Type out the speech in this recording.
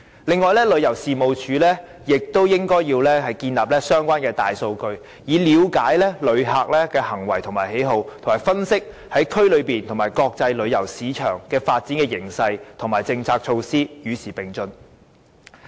此外，旅遊事務署亦應建立相關的大數據，以了解旅客的行為和喜好，並分析區內和國際旅遊市場的發展形勢和政策措施，與時並進。